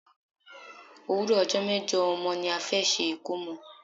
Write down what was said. Òwúrò ọjọ́ mejo ọmọ ni a fẹ́ ṣe ikomo.